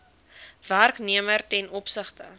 werknemer ten opsigte